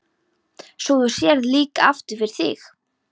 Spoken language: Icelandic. Svo þú sérð líka aftur fyrir þig?